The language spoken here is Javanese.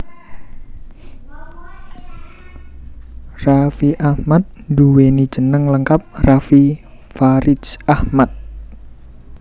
Raffi Ahmad nduwéni jeneng lengkap Raffi Faridz Ahmad